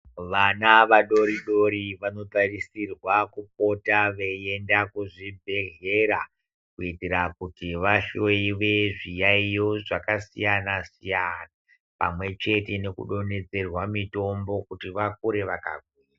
Vana vadori dori vanotarisirwa kupota veienda kuzvibhedhlera kuitira kuti vahloiwe zviyaiyo zvakasiyana siyana pamwechete nekudonhedzerwa mutombo kuti vakure vaka.